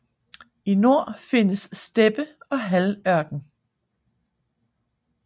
I nord findes steppe og halvørken